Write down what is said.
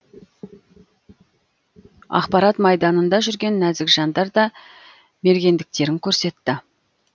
ақпарат майданында жүрген нәзік жандар да мергендіктерін көрсетті